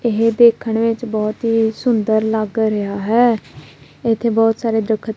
ਇਹ ਦੇਖਣ ਵਿੱਚ ਬਹੁਤ ਹੀ ਸੁੰਦਰ ਲੱਗ ਰਿਹਾ ਹੈ ਇੱਥੇ ਬਹੁਤ ਸਾਰੇ ਦਰਖਤ--